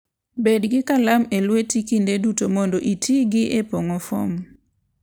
Bed gi kalam e lweti kinde duto mondo iti gi e pong'o fom.